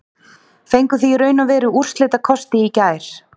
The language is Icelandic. Fenguð þið í raun og veru úrslitakosti í gær?